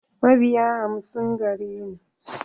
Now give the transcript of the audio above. Mabiya hamsin gare ni.